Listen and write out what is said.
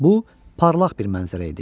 Bu parlaq bir mənzərə idi.